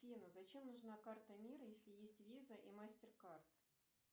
афина зачем нужна карта мир если есть виза и мастеркард